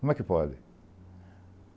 Como é que pode?